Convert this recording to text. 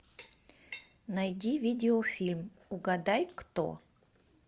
найди видеофильм угадай кто